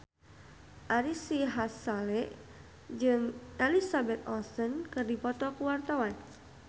Ari Sihasale jeung Elizabeth Olsen keur dipoto ku wartawan